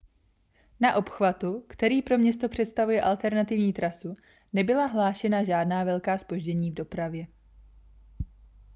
na obchvatu který pro město představuje alternativní trasu nebyla hlášena žádná velká zpoždění v dopravě